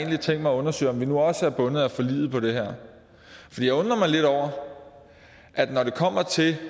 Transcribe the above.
har tænkt mig at undersøge om vi nu også er bundet af forliget på det her for jeg undrer mig lidt over at når det kommer til